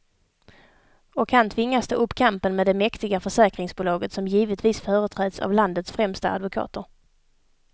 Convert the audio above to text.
Och han tvingas ta upp kampen med det mäktiga försäkringsbolaget, som givetvis företräds av landets främsta advokater.